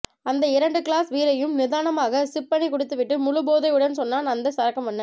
அந்த இரண்டு கிளாஸ் பீரையும் நிதானமாக சிப் பண்ணி குடித்துவிட்டு முழு போதையுடன் சொன்னான் அந்த சரக்கு மன்னன்